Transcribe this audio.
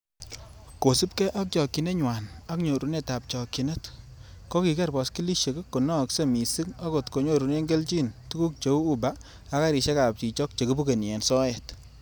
Kosiibge ak chokchinenywan ak nyorunetab chokchinet, kokiger boskilisiek konokse missing, okot konyorunen kelchin tuguk cheu uba ak garisiek ab chichok che kibukeni en soet.